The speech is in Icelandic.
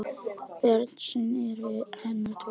Börn hans eru tvö.